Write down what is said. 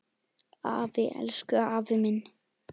Afi, elsku afi minn.